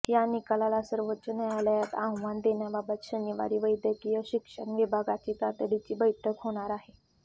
या निकालाला सर्वोच्च न्यायालयात आव्हान देण्याबाबत शनिवारी वैद्यकीय शिक्षण विभागाची तातडीची बैठक होणार आहे